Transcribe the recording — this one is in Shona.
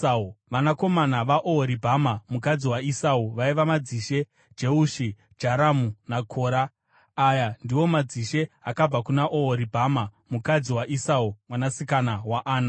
Vanakomana vaOhoribhama, mukadzi waEsau, vaiva: madzishe Jeushi, Jaramu naKora. Aya ndiwo madzishe akabva kuna Ohoribhama mukadzi waEsau mwanasikana waAna.